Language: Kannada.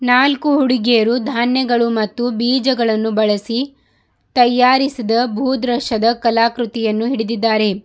ನಾಲ್ಕು ಹುಡುಗಿಯರು ಧಾನ್ಯಗಳು ಮತ್ತು ಬೀಜಗಳನ್ನು ಬಳಸಿ ತಯಾರಿಸಿದ ಭೂದೃಶ್ಯದ ಕಲಾಕೃತಿಯನ್ನು ಹಿಡಿದಿದ್ದಾರೆ.